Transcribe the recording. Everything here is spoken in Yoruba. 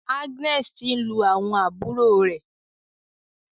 Agnes tí ń lù àwọn àbúrò rẹ.